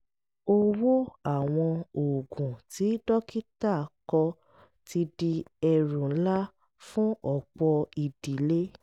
owó àwọn oògùn tí dókítà kọ ti di ẹrù ńlá fún ọ̀pọ̀ ìdílé